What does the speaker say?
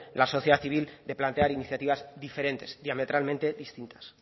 la sociedad civil de plantear iniciativas diferentes diametralmente distintas